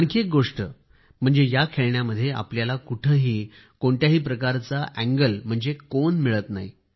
आणखी एक गोष्ट म्हणजे या खेळण्यामध्ये आपल्याला कुठंही कोणत्याही प्रकारचा अँगल म्हणजेच कोन मिळत नाही